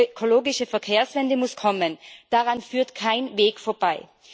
Die ökologische Verkehrswende muss kommen, daran führt kein Weg vorbei.